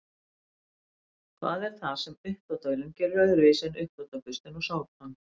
Hvað er það sem uppþvottavélin gerir öðruvísi en uppþvottaburstinn og sápan?